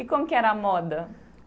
E como que era a moda?